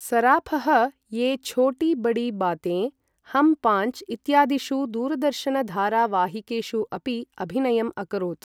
सराफः ये छोटी बड़ी बातेइन्, हम पाञ्च् इत्यादिषु दूरदर्शनधारावाहिकेषु अपि अभिनयम् अकरोत् ।